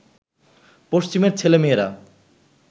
পশ্চিমের ছেলে মেয়েরা